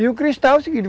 E o cristal é o seguinte.